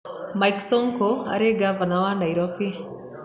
Mike Sonko aarĩ ngavana wa Nairobi